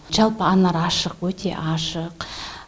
жалпы анар ашық өте ашық